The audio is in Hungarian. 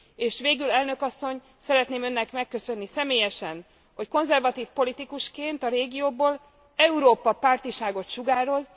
És végül, elnök asszony, szeretném Önnek megköszönni személyesen, hogy konzervatív politikusként a régióból Európa pártiságot sugároz.